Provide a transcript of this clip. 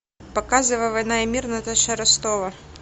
показывай война и мир наташа ростова